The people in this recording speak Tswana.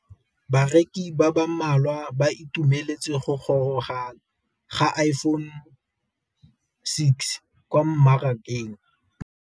Bareki ba ba malwa ba ituemeletse go gôrôga ga Iphone6 kwa mmarakeng.